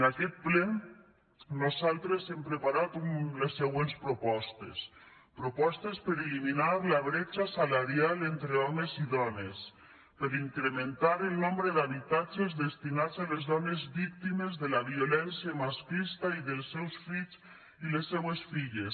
en aquest ple nosaltres hem preparat les següents propostes propostes per eliminar la bretxa salarial entre homes i dones per incrementar el nombre d’habitatges destinats a les dones víctimes de la violència masclista i als seus fills i les seues filles